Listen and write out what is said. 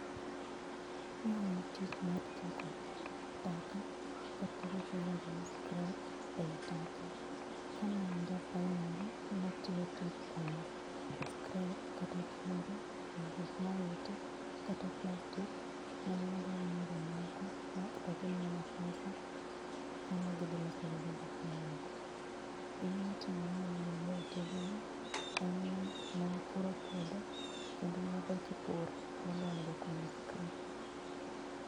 Mae en tich mar choko taka kata gik miluongo ni scrap ei taka. Kane an ja primary natiyo tich mar kwanyo scrap kata chumbe e gik mowiti kata plastic mane wadhi wamiyo jomoko to gimiyo wa pesa to gidhi loso go gik mamoko. Gimane otimore momiyo naweyo tijni en ni ne wapuro puodho kendo ne wadok e pur moloyo dhi kwanyo scrap